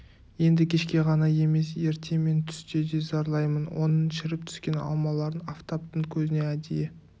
енді кешке ғана емес ерте мен түсте де зарлаймын оның шіріп түскен алмаларын афтаптың көзіне әдейі